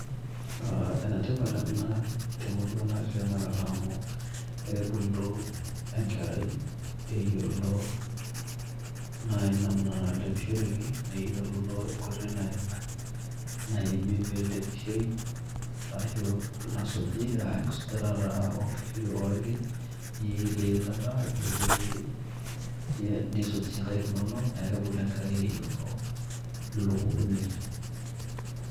Enetipat ena te murua natii tena kata amu kebulu enkerai eyiolo naai namna nalepishoreki neyiolo naai enkotoi naimi peelepishoi arashu nasuji aa enkosujata taa oo nkishu orki niyielie eilata nisuj inkaik inonok neeku kebulu enkerai eyiolo Ilo pukuniei .